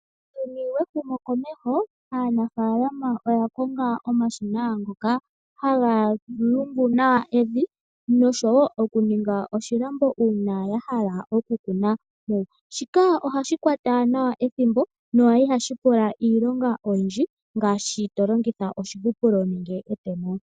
Muuyuni wehumo komeho aanafalama oya konga omashina ngoka haga lungu nawa evi noshowo okuninga oshilambo uuna yahala okukuna, shika ohashi kwata nawa ethimbo sho ihashi pula iilonga oyindji ngaashi tolongitha oshihupulo nenge etemo.